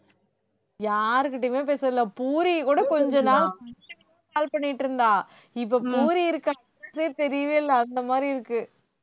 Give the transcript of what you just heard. யாருகிட்டேயுமே பேசறதில்லை, பூரியை கூட call பண்ணிட்டு இருந்தா இப்போ பூரி தெரியவே இல்லை அந்த மாதிரி இருக்கு